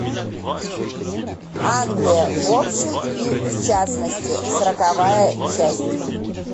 англия в общем и в частности сороковая часть